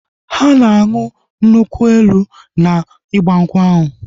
Ha na anụ nkwu elu na igbankwu ahu